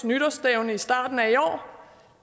nytårsstævne i starten af i år